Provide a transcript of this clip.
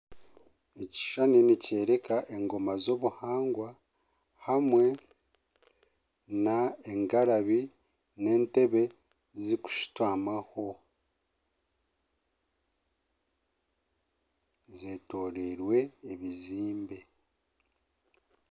Ekishushani ni kyoreka engoma zobuhangwa hamwe n'engarabi n'entebe zikushutamwa ho. Zetoreirwe ebizimbe.